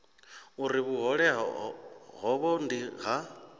uri vhuhole havho ndi ha